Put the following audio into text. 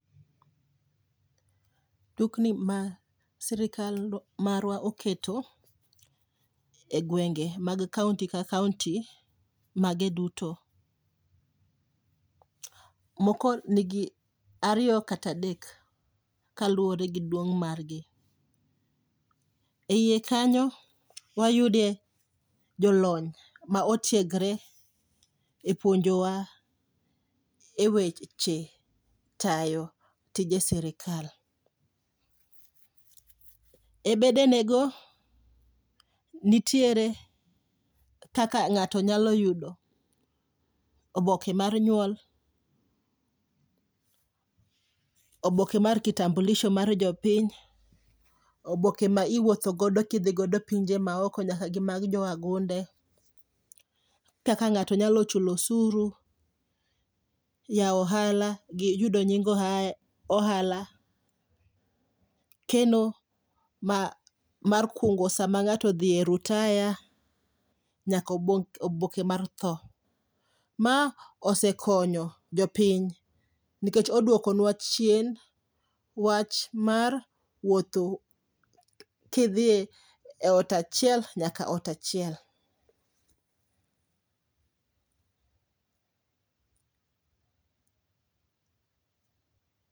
Dukni ma sirikal marwa oketo e gwenge mag kaonti ka kaonti mage duto. Moko nigi ariyo kata adek, kaluwore gi duong' margi. E iye kanyo wayudie jolony ma otiegre e puonjowa e weche tayo tije sirikal. E bedene go, nitiere kaka ng'ato nyalo yudo oboke mar nyuol, oboke mar kitambulisho mar jopiny. Oboke ma iwuotho godo kidho godo e pinje maoko nyaka gi mag jo wagunde, kaka ng'ato nyalo chulo osuru. Yawo ohala gi yudo nying ohala, keno ma mar kungo sama ng'ato odhiye rutaya, nyako oboke mar tho. Ma osekonyo jopiny nikech odwokonwa chien wach mar wuotho kidhiye e ot achiel nyaka ot achiel.